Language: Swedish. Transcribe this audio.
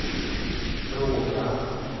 fråga